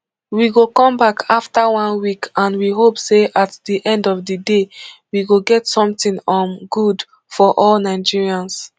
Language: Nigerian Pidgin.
we go come back afta one week and we hope say at di end of di day we go get something um good for all nigerians